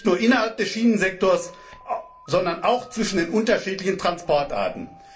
Nicht nur innerhalb des Schienensektors, sondern auch zwischen den unterschiedlichen Transportarten.